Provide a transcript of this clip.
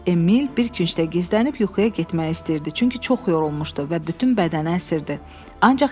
Emil bir küncdə gizlənib yuxuya getmək istəyirdi, çünki çox yorulmuşdu və bütün bədəni əsirdi, ancaq yata bilmədi.